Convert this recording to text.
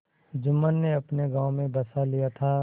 जुम्मन ने अपने गाँव में बसा लिया था